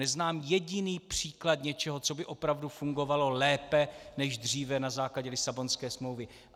Neznám jediný příklad něčeho, co by opravdu fungovalo lépe než dříve na základě Lisabonské smlouvy.